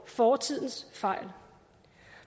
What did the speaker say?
fortidens fejl